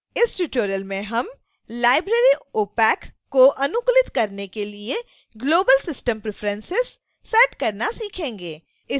इस tutorial में हम library opac को अनुकूलित करने के लिए global system preferences set करना सीखेंगे